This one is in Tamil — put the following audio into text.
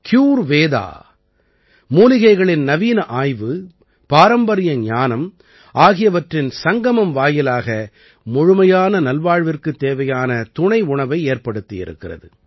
க்யூர்வேதா மூலிகைகளின் நவீன ஆய்வு பாரம்பரிய ஞானம் ஆகியவற்றின் சங்கமம் வாயிலாக முழுமையான நல்வாழ்விற்குத் தேவையான துணை உணவை ஏற்படுத்தி இருக்கிறது